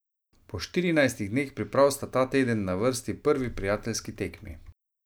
Po štirinajstih dneh priprav sta ta teden na vrsti prvi prijateljski tekmi.